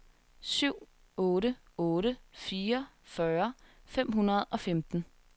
syv otte otte fire fyrre fem hundrede og femten